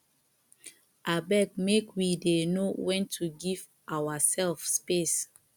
abeg make we dey know wen to give oursef space